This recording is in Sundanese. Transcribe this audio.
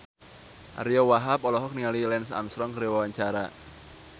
Ariyo Wahab olohok ningali Lance Armstrong keur diwawancara